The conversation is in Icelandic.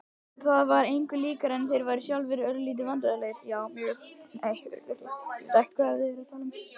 Það var engu líkara en þeir væru sjálfir örlítið vandræðalegir.